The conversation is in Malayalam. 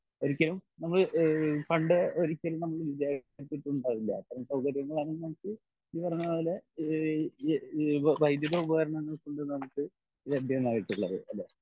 ഒരിക്കലും നമ്മൾ ഈഹ് പണ്ട് ഒരിക്കലൂം നമ്മൾ വിചാരിച്ചുണ്ടാവില്ല അത്രേം സൗകര്യങ്ങളാണ് ഇന്ന് നമുക്ക് ഈ പറഞ്ഞ പോലെ ഈഹ് വൈദ്യുത ഉപകരണങ്ങൾ കൊണ്ട് നമുക്ക് ലഭ്യമായിട്ടുള്ളത്